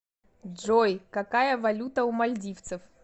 джой какая валюта у мальдивцев